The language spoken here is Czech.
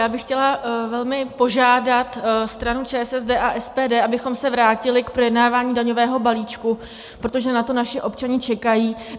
Já bych chtěla velmi požádat stranu ČSSD a SPD, abychom se vrátili k projednávání daňového balíčku, protože na to naši občané čekají.